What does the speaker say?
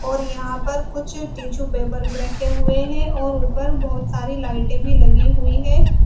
और यहां पर कुछ टिशू पेपर भी रखे हुए हैं और ऊपर बहुत सारी लाइटें भी लगी हुई है।